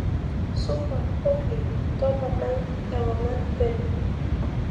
supa olly topanai ewangan peno